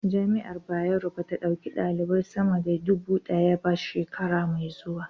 Jami'ar Bayero ba ta ɗauki ɗalibai sama da duba ɗaya ba shekara mai zuwa